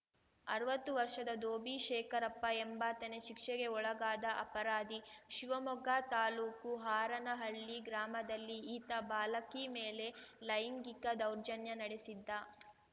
ಅರ್ವತ್ತು ವರ್ಷದ ದೋಭಿ ಶೇಖರಪ್ಪ ಎಂಬಾತನೇ ಶಿಕ್ಷೆಗೆ ಒಳಗಾದ ಅಪರಾಧಿ ಶಿವಮೊಗ್ಗ ತಾಲೂಕು ಹಾರನಹಳ್ಳಿ ಗ್ರಾಮದಲ್ಲಿ ಈತ ಬಾಲಕಿ ಮೇಲೆ ಲೈಂಗಿಕ ದೌರ್ಜನ್ಯ ನಡೆಸಿದ್ದ